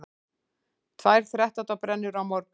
Tvær þrettándabrennur á morgun